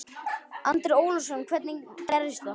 Andri Ólafsson: Hvernig gerðist það?